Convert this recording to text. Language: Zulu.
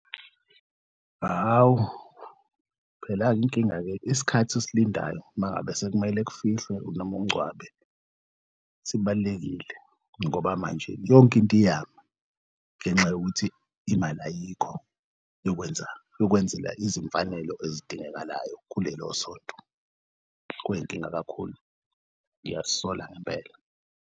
Hawu, phela-ke inkinga-ke isikhathi osilindayo umangabe sekumele kufihlwe nom'ungcwabe sibalulekile ngoba manje yonke into iyama ngenxa yokuthi imali ayikho yokwenza ukwenzelwa izimfanelo ezidingekalayo kulelosonto kuyinkinga kakhulu, ngiyazisola ngempela.